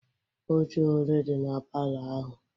Ọche ole dị na palọ ahụ?